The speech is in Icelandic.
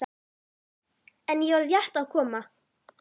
En ég var rétt að koma.